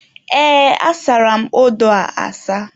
Ee, asara m odo a asa.